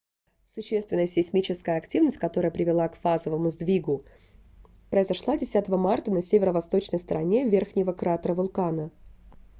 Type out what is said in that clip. существенная сейсмическая активность которая привела к фазовом сдвигу произошла 10 марта на северо-восточной стороне верхнего кратера вулкана